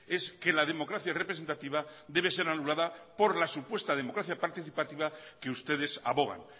es que la democracia representativa debe ser anulada por la supuesta democracia participativa que ustedes abogan